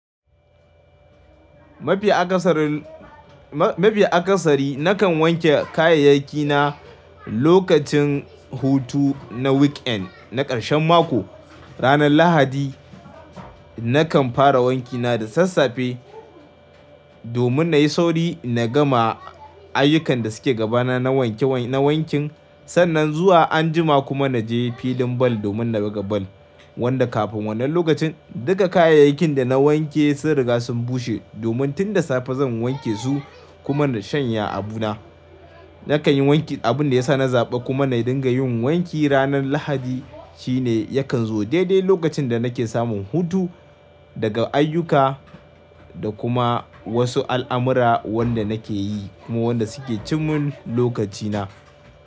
Mafi akasari, nakan wanke kayayyakina lokacin hutu na weekend, na karshen mako. Ranar Lahadi, nakan fara wankina da sassafe domin na yi sauri na gama ayyukan da suke gabana na wanke, na wankin. Sannan zuwa anjima kuma na je filin bal domin na buga bal. Wanda kafin wannan lokacin duka kayayakin da na wanke sun riga sun bushe domin tun da safe zan wanke su kuma na shanya abu na. Nakan yi wanki, abin da ya sa na zaɓa kuma na dinga yin wanki ranar Lahadi shine yakan zo daidai lokacin da nake samun hutu daga ayyuka da kuma wasu al'amura wanda nake yi kuma wanda suke cin min lokacina.